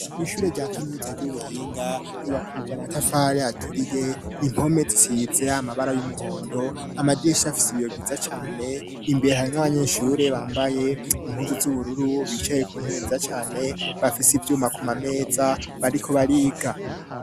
ishure rya kaminuza ry'ubuhinga ryubakishijwe amatafari aturiye impome zisiitse amabara y'umuhondo amadirisha afise biyo vyiza cane imbere harimwo abanyeshure bambaye impuzu z'ubururu bicaye ku ntebe nziza cane bafisi vyuma kumameza bariko bariga